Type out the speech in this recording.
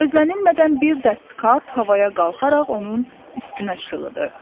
Gözlənilmədən bir dəst kart havaya qalxaraq onun üstünə şıxladı.